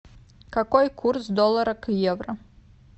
какой курс доллара к евро